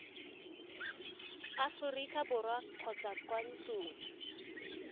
aforika borwa kgotsa kwa ntlong